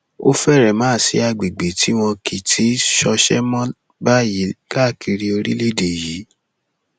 ó fẹrẹ má sí àgbègbè tí wọn kì í ti í ṣọṣẹ mọ báyìí káàkiri orílẹèdè yìí